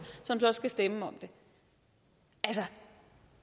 som så skal stemme om det altså